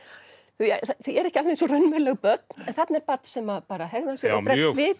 þau eru ekki alveg eins og raunveruleg börn en þarna er barn sem hegðar sér og bregst við